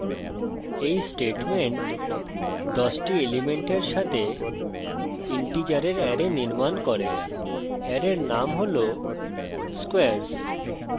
এই statement 10টি elements সাথে integers অ্যারে নির্মাণ করে অ্যারের name হল squares